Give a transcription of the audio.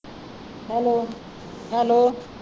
Hello hello